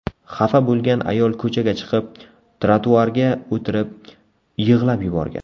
Xafa bo‘lgan ayol ko‘chaga chiqib, trotuarga o‘tirib, yig‘lab yuborgan.